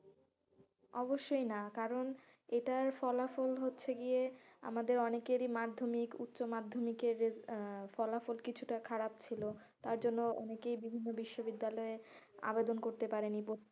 অবশ্যই না কারন এটার ফলাফল হচ্ছে গিয়ে আমাদের অনেকেরই মাধ্যমিক উচমাধ্যমিকের আহ ফলাফল কিছুটা খারাপ ছিল তার জন্য অনেকেই বিভিন্ন বিশ্ববিদ্যালয়ে আবেদন করতে পারেনি,